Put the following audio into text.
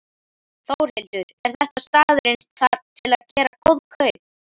Þórhildur: Er þetta staðurinn til að gera góð kaup?